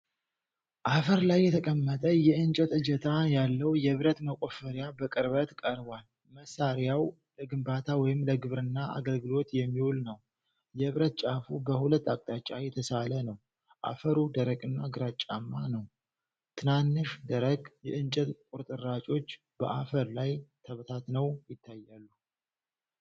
አፈር ላይ የተቀመጠ የእንጨት እጀታ ያለው የብረት መቆፈሪያ በቅርበት ቀርቧል። መሣሪያው ለግንባታ ወይም ለግብርና አገልግሎት የሚውል ነው፣ የብረት ጫፉ በሁለት አቅጣጫ የተሳለ ነው። አፈሩ ደረቅና ግራጫማ ነው፣ ትናንሽ ደረቅ የእንጨት ቁርጥራጮች በአፈር ላይ ተበታትነው ይታያሉ።